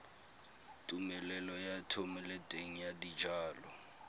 tumelelo ya thomeloteng ya dijalo